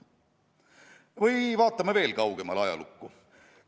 Või vaatame veel kaugemale ajalukku.